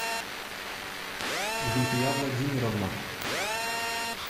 гульфия владимировна